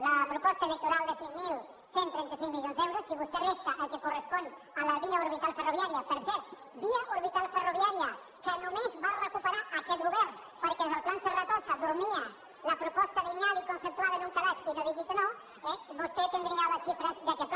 la proposta electoral de sis mil cent i trenta cinc milions d’euros si vostè li resta el que correspon a la via orbital ferroviària per cert via orbital ferroviària que només va recuperar aquest govern perquè des del pla serratosa dormia la proposta lineal i conceptual en un calaix i no digui que no eh vostè tindria les xifres d’aquest pla